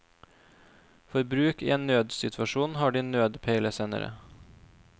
For bruk i en nødsituasjon har de nødpeilesender.